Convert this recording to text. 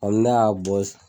Hali n'a ya bɔ.